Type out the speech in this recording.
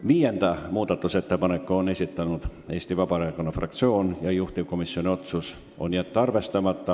Viienda muudatusettepaneku on esitanud Eesti Vabaerakonna fraktsioon ja juhtivkomisjoni otsus on jätta see arvestamata.